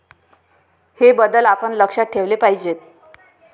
हे बदल आपण लक्षात ठेवले पाहिजेत.